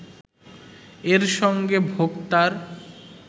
এর সঙ্গে ভোক্তার